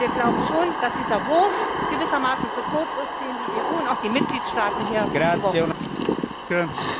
Wir glauben schon, dass dieser Wurf gewissermaßen zu kurz ist, den die EU und auch die Mitgliedstaaten hier geworfen haben.